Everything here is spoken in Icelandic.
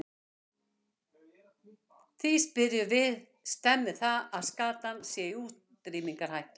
Því spyrjum við, stemmir það að skatan sé í útrýmingarhættu?